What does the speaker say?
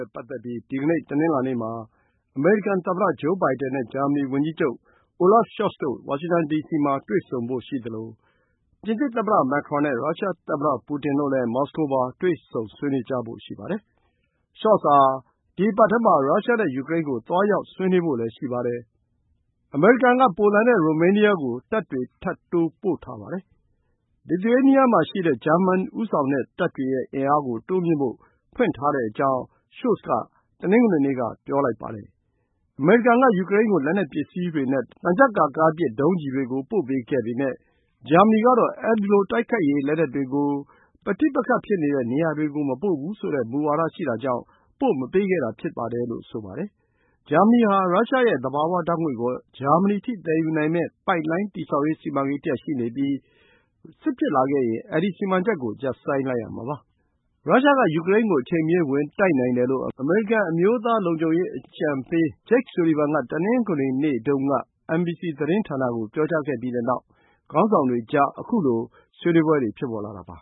ဲ့ပတ်သက်ပြီး ဒီကနေ့ တနင်္လာနေ့မှာ အမေရိကန်သမ္မတ ဂျိုးဘိုင်ဒန်နဲ့ ဂျာမနီဝန်ကြီးချုပ် Olaf Scholz တို့ ဝါရှင်တန်ဒီစီမှာ တွေ့ဆုံဖို့ရှိသလို ပြင်သစ်သမ္မတ Macron နဲ့ ရုရှားသမ္မတပူတင်တို့လည်း မော်စကိုမှာ တွေ့ဆုံဆွေးနွေးကြဖို့ ရှိပါတယ်။ Scholz ဟာ ဒီ အပတ်ထဲမှာ ရုရှားနဲ့ ယူကရိန်းကို သွားရောက်ဆွေးနွေးဖို့လည်း ရှိပါတယ်။ အမေရိကန်က ပိုလန်နဲ့ ရိုမေးနီးယားကို တပ်တွေထပ်တိုးပို့ထားပါတယ်။ လစ်သူရေးနီးယား မှာရှိတဲ့ ဂျာမန်ဦးဆောင်တဲ့ တပ်တွေရဲ့အင်အားကို တိုးမြှင့်ဖို့ ဖွင့်ထားကြောင်း Scholz က တနင်္ဂနွေနေ့က ပြောခဲ့ပါတယ်။ အမေရိကန်က ယူကရိန်းကို လက်နက်ပစ္စည်းတွေနဲ့ သံချပ်ကာကားပစ် ဒုံးကျည်တွေကို ပို့ပေးခဲ့ပေမယ့် ဂျာမနီကတော့ အဲဒီလို တိုက်ခိုက်ရေးလက်နက်တွေကို ပဋိပက္ခဖြစ်နေတဲ့ နေရာတွေကို မပို့ဘူးဆိုတဲ့မူဝါဒရှိတာကြောင့် ပို့မပေးခဲ့တာ ဖြစ်ပါတယ်လို့ဆိုပါတယ်။ ဂျာမနီဟာ ရုရှားရဲ့သဘာဝဓာတ်ငွေ့ကို ဂျာမနီအထိသယ်ယူမယ့်ပိုက်လိုင်း တည်ဆောက်ရေး စီမံကိန်းတရပ်ရှိနေပြီး စစ်ဖြစ်လာခဲ့ရင် ဒီ စီမံချက်ကို ရပ်ဆိုင်းလိုက်ရမှာပါ။ ရုရှားက ယူကရိန်းကို အချိန်မရွေးဝင်တိုက်နိုင်တယ်လို့ အမေရိကန် အမျိုးသားလုံခြုံရေး အကြံပေးအရာရှိ Jake Sullivan က တနင်္ဂနွေနေ့တုန်းက NBC သတင်းဌာနကို ပြောကြားခဲ့ပြီးတဲ့နောက် ခေါင်းဆောင်တွေကြား ခုလို ဆွေးနွေးပွဲတွေ ဖြစ်ပေါ်လာတာပါ